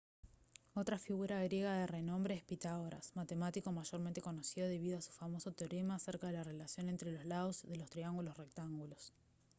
otra figura griega de renombre es pitágoras matemático mayormente conocido debido a su famoso teorema acerca de la relación entre los lados de los triángulos rectángulos